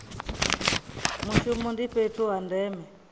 mushumo ndi fhethu ha ndeme